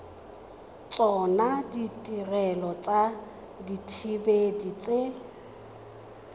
tsona ditirelo tsa dithibedi tse